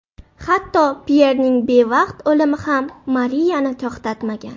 Hatto Pyerning bevaqt o‘limi ham Mariyani to‘xtatmagan.